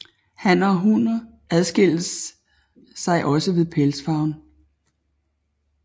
Hanner og hunner adskiller sig også ved pelsfarven